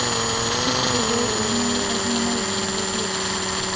Tisipu pee iimaki oltungana linono le biotisho.